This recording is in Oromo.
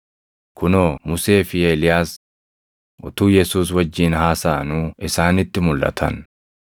Kunoo Musee fi Eeliyaas utuu Yesuus wajjin haasaʼanuu isaanitti mulʼatan.